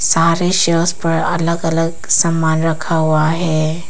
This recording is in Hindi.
सारे सेल्स पर अलग अलग सामान रखा हुआ है।